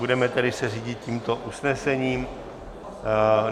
Budeme se tedy řídit tímto usnesením.